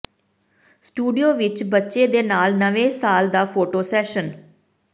studio ਵਿਚ ਬੱਚੇ ਦੇ ਨਾਲ ਨਵੇਂ ਸਾਲ ਦਾ ਫੋਟੋ ਸੈਸ਼ਨ